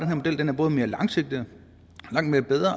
den er både mere langsigtet